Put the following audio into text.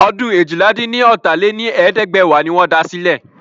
Ọdún eéjìlá-dín-ní-ọ́ta lé ní ẹ̀ẹ́dẹ́gbẹ́wá ni wọ́n da sílẹ̀.